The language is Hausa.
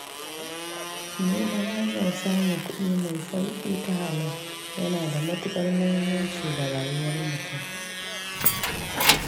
Neman hanyar samun kuɗi mai sauƙi ta halal yana da matuƙar muhimmanci ga rayuwar mutum.